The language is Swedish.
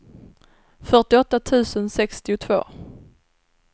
fyrtioåtta tusen sextiotvå